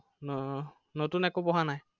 আহ নতুন একো পঢ়া নাই?